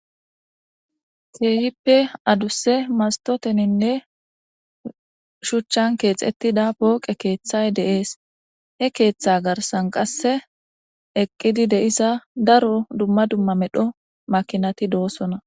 Kiehippe adusse mastoteninne shuchchan keexettida pooqe keeththay de'ess, he keeththa garsan qasse eqqidi de'za daro dumma dumma medho makinati doossona